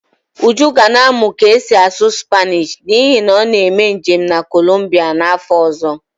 Uju ga na-amụ ka esi asụ Spanishi n'ihi na ọ na-eme njem na kolumbia n'afọ ọzọ